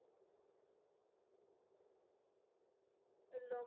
তুমি কেনেকে কতালা lockdown ৰ সময় খিনি